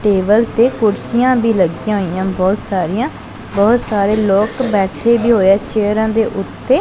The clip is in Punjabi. ਟੇਬਲ ਤੇ ਕੁਰਸੀਆਂ ਵੀ ਲੱਗਿਆਂ ਹੋਇਆ ਬਹੁਤ ਸਾਰੀਆਂ ਬਹੁਤ ਸਾਰੇ ਲੋਕ ਬੈਠੇ ਵੀ ਹੋਇਆਂ ਚੇਅਰਾਂ ਦੇ ਓੱਤੇ।